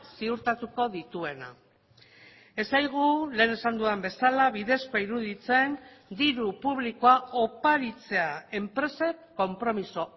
ziurtatuko dituena ez zaigu lehen esan dudan bezala bidezkoa iruditzen diru publikoa oparitzea enpresek konpromiso